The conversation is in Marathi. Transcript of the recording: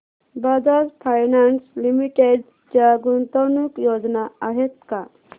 बजाज फायनान्स लिमिटेड च्या गुंतवणूक योजना आहेत का